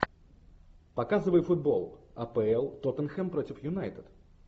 показывай футбол апл тоттенхэм против юнайтед